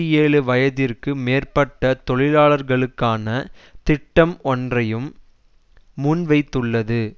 ஏழு வயதிற்கு மேற்பட்ட தொழிலாளர்களுக்கான திட்டம் ஒன்றையும் முன்வைத்துள்ளது